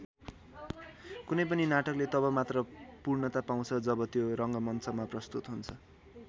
कुनै पनि नाटकले तब मात्र पूर्णता पाउँछ जब त्यो रङ्गमञ्चमा प्रस्तुत हुन्छ।